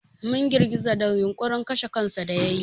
Mun girgiza da yunƙurin kashe kansa da yayi.